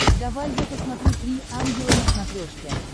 давай я посмотрю три ангела на смотрешке